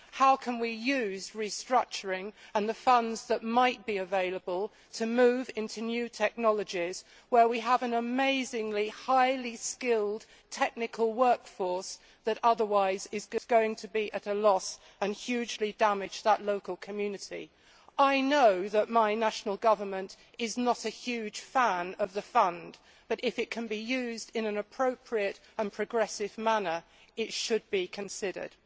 How can we use restructuring and the funds that might be available to move into new technologies where we have an amazingly highly skilled technical workforce that is otherwise going to be at a loss, greatly to the detriment of that local community? I know that my national government is not a huge fan of the fund, but if it can be used in an appropriate and progressive manner, it should be considered.